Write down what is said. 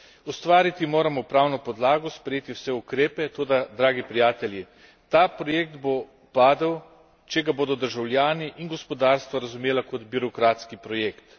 Ustvariti moramo pravno podlago, sprejeti vse ukrepe, toda, dragi prijatelji, ta projekt bo padel, če ga bodo državljani in gospodarstva razumela kot birokratski projekt.